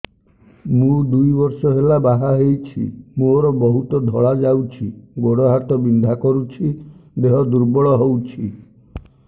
ମୁ ଦୁଇ ବର୍ଷ ହେଲା ବାହା ହେଇଛି ମୋର ବହୁତ ଧଳା ଯାଉଛି ଗୋଡ଼ ହାତ ବିନ୍ଧା କରୁଛି ଦେହ ଦୁର୍ବଳ ହଉଛି